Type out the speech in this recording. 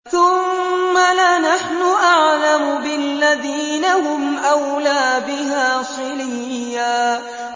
ثُمَّ لَنَحْنُ أَعْلَمُ بِالَّذِينَ هُمْ أَوْلَىٰ بِهَا صِلِيًّا